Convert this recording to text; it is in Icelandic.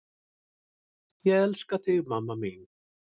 Ég elska þig mamma mín.